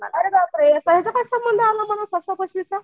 अरे बाप रे आता याचा काय संबंध आला फसवा फसवीचा.